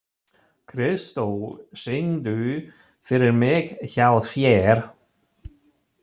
Kristó, syngdu fyrir mig „Hjá þér“.